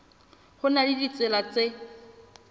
ho na le ditsela tse